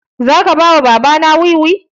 Za ka ba wa baba na wiwi?